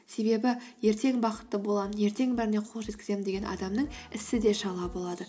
себебі ертең бақытты боламын ертең бәріне қол жеткіземін деген адамның ісі де шала болады